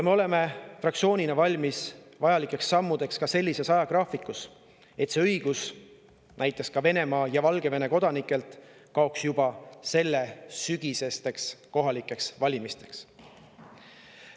Me oleme fraktsioonina valmis vajalikeks sammudeks ka sellises ajagraafikus, et see õigus näiteks ka Venemaa ja Valgevene kodanikelt kaoks juba sellel sügisel toimuvateks kohalikeks valimisteks.